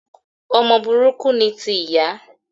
Ọmọ burúkú ni ti ìyá